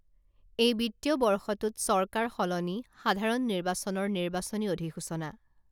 এই বিত্তীয় বৰ্ষটোত চৰকাৰ সলনি সাধাৰণ নিৰ্বাচনৰ নিৰ্বাচনী অধিসূচনা